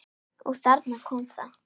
Og þarna kom það.